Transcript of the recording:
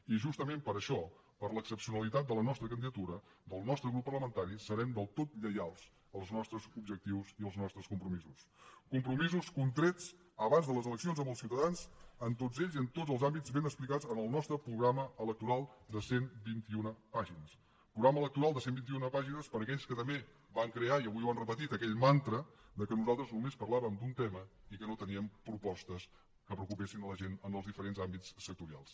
i justament per això per l’excepcionalitat de la nostra candidatura del nostre grup parlamentari serem del tot lleials als nostres objectius i als nostres compromisos compromisos contrets abans de les eleccions amb els ciutadans amb tots ells i en tots els àmbits ben explicats en el nostre programa electoral de cent i vint un pàgines programa electoral de cent i vint un pàgines per a aquells que també van crear i avui ho han repetit aquell mantra que nosaltres només parlàvem d’un tema i que no teníem propostes que preocupessin la gent en els diferents àmbits sectorials